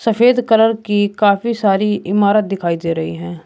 सफेद कलर की काफी सारी इमारत दिखाई दे रही है।